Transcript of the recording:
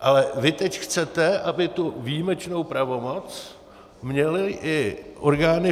Ale vy teď chcete, aby tu výjimečnou pravomoc měly i orgány